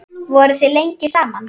Voruð þið lengi saman?